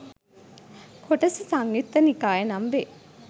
කොටස සංයුත්ත නිකාය නම් වේ.